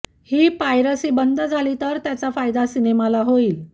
ही piracy बंद झाली तर त्याचा फायदा सिनेमाला होईल